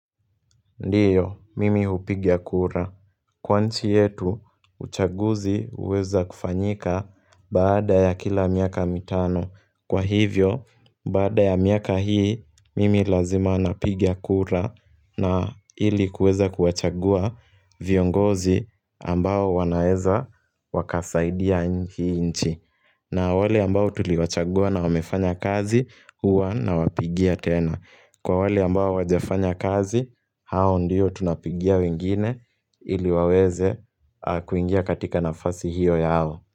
Ndiyo, mimi upigia kura. Kwa inchi yetu, uchaguzi uweza kufanyika bada ya kila miaka mitano. Kwa hivyo, bada ya miaka hii, mimi lazima napiga kura na ili kuweza kuwachagua viongozi ambao wanaeza wakasaidia hii nchi. Na wale ambao tuli wachagua na wamefanya kazi, huwa na wapigia tena. Kwa wali ambao hawajafanya kazi, hao ndiyo tunapigia wengine ili waweze kuingia katika nafasi hiyo yao.